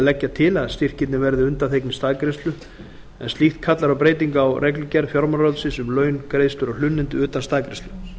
til að styrkirnir verði undanþegnir staðgreiðslu en slíkt kallar á breytingu á reglugerð fjármálaráðuneytisins um laun greiðslur og hlunnindi utan staðgreiðslu